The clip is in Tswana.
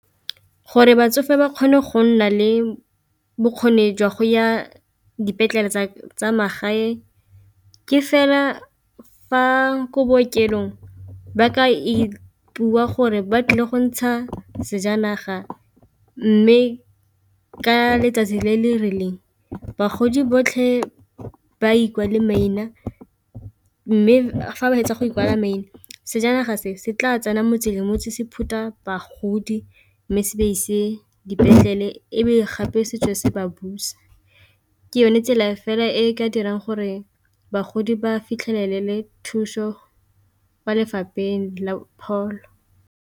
Gore batsofe ba kgone go nna le bokgoni jwa go ya dipetlele tsa magae ke fela fa ko bookelong ba ka ipua gore ba tlile go ntsha sejanaga, mme ka letsatsi le le rileng bagodi botlhe ba ikwale maina mme fa ba fetsa go ikwala maina sejanaga se se tla tsena motse le motse se phutha bagodi mme se ba ise dipetlele, ebe gape setswe se ba busa ke yone tsela fela e ka dirang gore bagodi ba fitlhelele thuso kwa lefapheng la pholo.